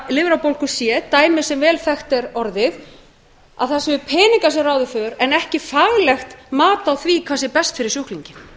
lifrarbólgu c dæmi sem vel þekkt er orðið en ekki faglegt mat á því hvað sé best fyrir sjúklinginn